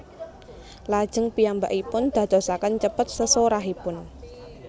Lajeng piyambakipun dadosaken cepet sesorahipun